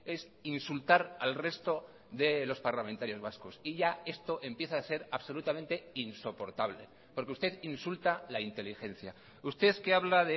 es insultar al resto de los parlamentarios vascos y ya esto empieza a ser absolutamente insoportable porque usted insulta la inteligencia usted que habla